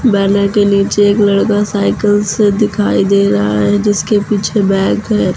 Banner के नीचे एक लड़का साइकिल से दिखाई दे रहा है जिसके पीछे बैग है।